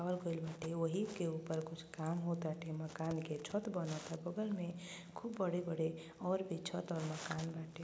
और कोई बातें वही के ऊपर कुछ काम होताते। मकान के छठ बनता। बगल में खूब बड़े-बड़े और छत और मकान बाटे।